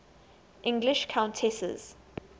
english countesses